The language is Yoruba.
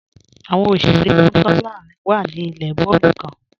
Awọn òṣèrè mọ̀kanlá wá ní ilẹ̀ bọọ̀lù kan.